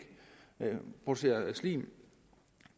producerer slim